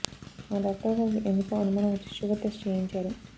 మా డాక్టర్ గారికి ఎందుకో అనుమానం వచ్చి షుగర్ టెస్ట్ చేయించారు